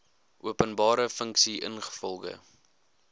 openbare funksie ingevolge